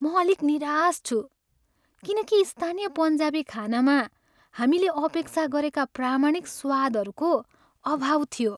म अलिक निराश छु किन कि स्थानीय पन्जाबी खानामा हामीले अपेक्षा गरेका प्रामाणिक स्वादहरूको अभाव थियो।